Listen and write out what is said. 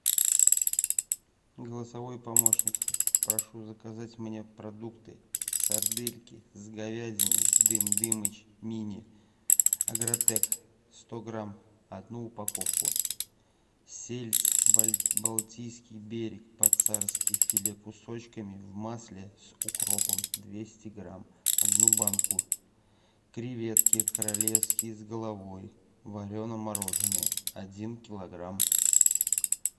голосовой помощник прошу заказать мне продукты сардельки с говядиной дым дымыч мини агротек сто грамм одну упаковку сельдь балтийский берег по царски филе кусочками в масле с укропом двести грамм одну банку креветки королевские с головой варено мороженные один килограмм